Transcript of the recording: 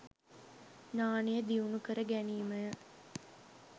ඥානය දියුණු කර ගැනීම ය.